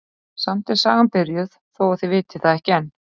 Samt er sagan byrjuð þó að þið vitið það ekki enn.